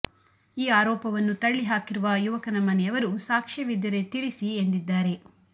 ಈ ಆರೋಪವನ್ನು ತಳ್ಳಿ ಹಾಕಿರುವ ಯುವಕನ ಮನೆಯವರು ಸಾಕ್ಷ್ಯವಿದ್ದರೆ ತಿಳಿಸಿ ಎಂದಿದ್ದಾರೆ